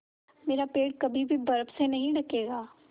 मेरा पेड़ कभी भी बर्फ़ से नहीं ढकेगा